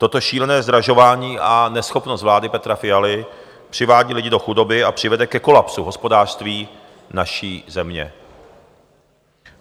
Toto šílené zdražování a neschopnost vlády Petra Fialy přivádí lidi do chudoby a přivede ke kolapsu hospodářství naší země.